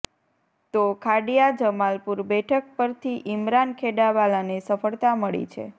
તો ખાડિયા જમાલપુર બેઠક પરથી ઈમરાન ખેડાવાલાને સફળતા મળી છે